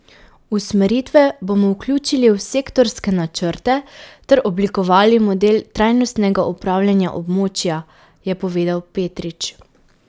Usmeritve bomo vključili v sektorske načrte ter oblikovali model trajnostnega upravljanja območja, je povedal Petrič.